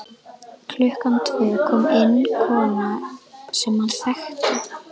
Klukkan tvö kom inn kona sem hann þekkti.